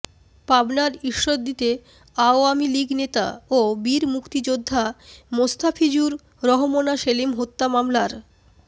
পাবনার ঈশ্বরদীতে আওয়ামী লীগ নেতা ও বীর মুক্তিযোদ্ধা মোস্তাফিজুর রহমনা সেলিম হত্যা মামলার